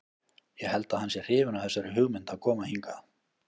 Ég held að hann sé hrifinn af þessari hugmynd að koma hingað.